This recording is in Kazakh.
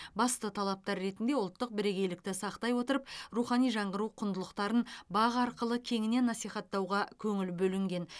басты талаптар ретінде ұлттық бірегейлікті сақтай отырып рухани жаңғыру құндылықтарын бақ арқылы кеңінен насихаттауға көңіл бөлінген